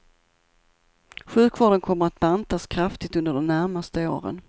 Sjukvården kommer att bantas kraftigt under de närmaste åren.